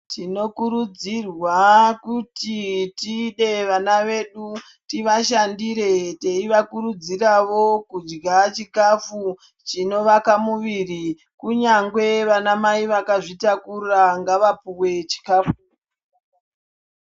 Tinokurudzirwa kuti tide vana vedu tivashandire teivakurudziravo kudya chikafu chinovaka muviri. Kunyangwe vana mai vakazvitakura ngavapuwe chikafu.